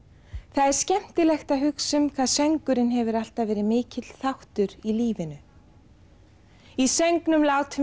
það er skemmtilegt að hugsa um það að söngurinn hefur alltaf verið mikill þáttur í lífinu í söngnum látum